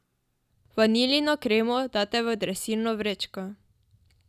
Vaniljino kremo date v dresirno vrečko.